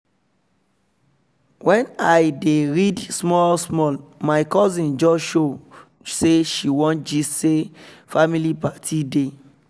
when i i dey read small small my cousin just show say she wan gist say family party dey